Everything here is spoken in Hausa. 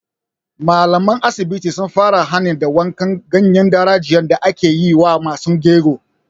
Malaman asibiti sun fara hani da wankan ganyen darejiyan da ake yi wa masu jego